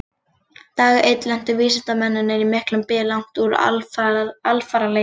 Dag einn lentu vísindamennirnir í miklum byl langt úr alfaraleið.